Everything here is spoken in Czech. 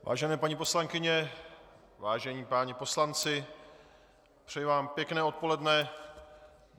Vážené paní poslankyně, vážení páni poslanci, přeji vám pěkné odpoledne.